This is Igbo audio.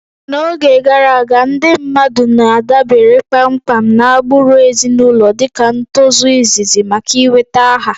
N'oge gara aga, ndị mmadụ na-adabere kpamkpam na agbụrụ ezinụlọ dịka ntozu izizi maka ị nweta aha